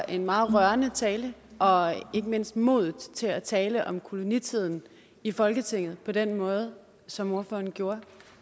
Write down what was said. en meget rørende tale og ikke mindst for modet til at tale om kolonitiden i folketinget på den måde som ordføreren gjorde